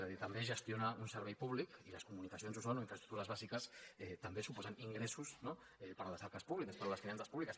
és a dir també gestionar un servei públic i les comunicacions ho són o infraestructures bàsiques també suposen ingressos no per a les arques públiques per a les finances públiques